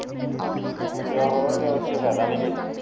ਤੇ ਹੋਰ ਇਸ ਚ ਫਾਇਦਾ ਨੀ ਕੋਈ